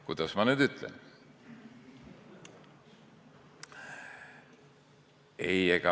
Kuidas ma nüüd ütlen?